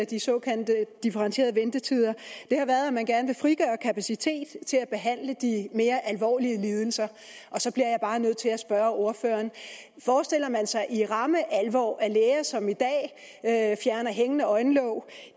de såkaldte differentierede ventetider har været at man gerne vil frigøre kapacitet til at behandle de mere alvorlige lidelser så bliver jeg bare nødt til at spørge ordføreren forestiller man sig i ramme alvor at læger som i dag fjerner hængende øjenlåg